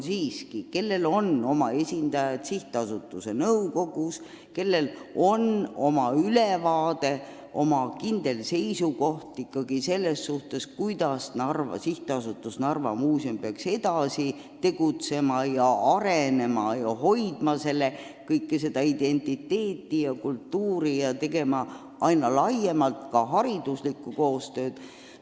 Riigil on sihtasutuse nõukogus oma esindajad, kellel on asjadest ülevaade ja peaks olema kindel seisukoht, kuidas SA Narva Muuseum peaks edasi tegutsema, arenema ning hoidma kohalikku identiteeti ja kultuuri, tehes ka aina laiemat hariduslikku tööd.